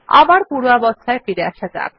আবার পূর্বাবস্থায় ফিরে আসা যাক